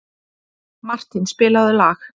Martin, spilaðu lag.